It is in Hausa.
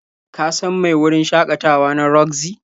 Ka san mai wurin shakatawa na Roxy?